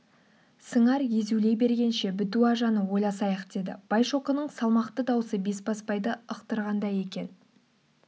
сыңар езулей бергенше бітуажаны ойласайық деді байшоқының салмақты даусы бесбасбайды ықтырғандай екен